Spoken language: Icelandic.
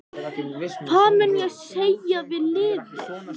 Hvað mun ég segja við liðið?